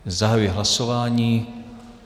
Zahajuji hlasování.